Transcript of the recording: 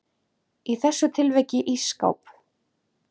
Í þessu tilviki ísskáp.